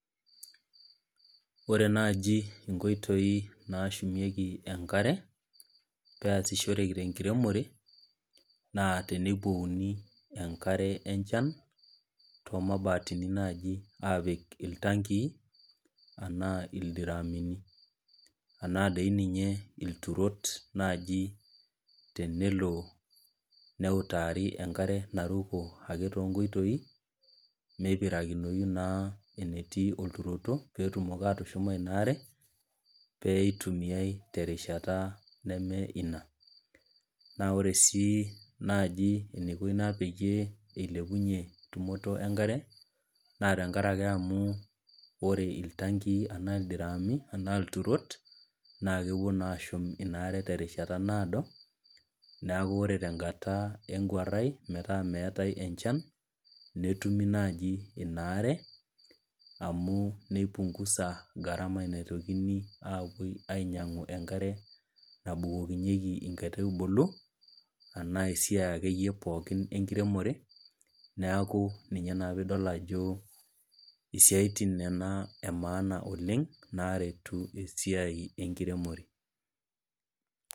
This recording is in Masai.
Ore naaji inkoitoi naashumieki enkare pee easishoreki te enkiremore, naa teneiwuouni enkare echan, too imabatini naaji apik iltankii, anaa ildiramuni, anaa dii ninye ilturot naaji tenelo neutaari ake enkare naruko too inkoitoi meipirakinoyu naa enetii olturoto, pee etumoki atushuma ina aare, pee eitumiyai te erishata neme ina, naa ore sii naaji eneiko ina pee eilepunye tumoto enkare naa tenkarake iltankii anaa ildiramuni anaa ilturot naa kepuo naa ashum inaare te rishata naado, neaku kore te enkata enguarai metaa meatai enchan, netumi naaji inaare amu neipungusa gharama naitokini aapuo ainyang'u enkare nabukokinyeki inkaitubulu anaa ake iyie esiai ake iyie pookin enkiremore, neaku ninye naa piidol ajo isiatin nena e maana oleng' naaretu esiai enkiremore.